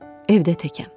Evdə təkəm.